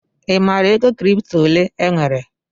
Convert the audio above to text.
I maara ego kripto ole enwere?